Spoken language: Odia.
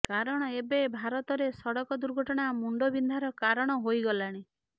କାରଣ ଏବେ ଭାରତରେ ସଡ଼କ ଦୁର୍ଘଟଣା ମୁଣ୍ଡବିନ୍ଧାର କାରଣ ହୋଇଗଲାଣି